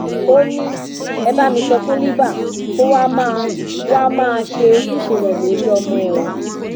ó ní ẹ bá mi sọ fún libre kó wàá máa wàá máa ṣe ojúṣe rẹ lórí ọmọ ẹ o